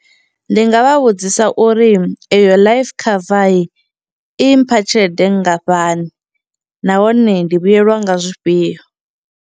Ndi nga vha vhudzisa uri iyo life cover i mpha tshelede nngafhani nahone ndi vhuyelwa nga zwifhio.